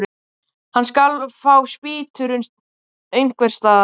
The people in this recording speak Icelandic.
Hann skal fá spýtur einhvers staðar.